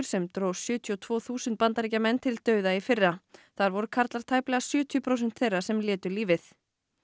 sem dró sjötíu og tvö þúsund Bandaríkjamenn til dauða í fyrra þar voru karlar tæplega sjötíu prósent þeirra sem létu lífið